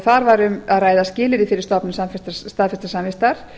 þar var um að ræða skilyrði fyrir stofnun staðfestrar samvistar